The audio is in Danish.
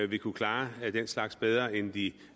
vil kunne klare den slags bedre end de